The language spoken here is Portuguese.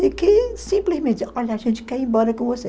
E que simplesmente diziam, olha, a gente quer ir embora com você.